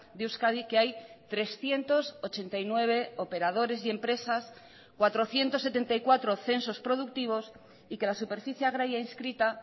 de euskadi que hay trescientos ochenta y nueve operadores y empresas cuatrocientos setenta y cuatro censos productivos y que la superficie agraria inscrita